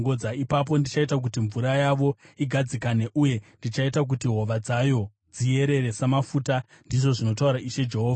Ipapo ndichaita kuti mvura yavo igadzikane, uye ndichaita kuti hova dzayo dziyerere samafuta, ndizvo zvinotaura Ishe Jehovha.